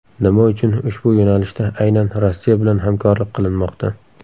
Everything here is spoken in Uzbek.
Nima uchun ushbu yo‘nalishda aynan Rossiya bilan hamkorlik qilinmoqda?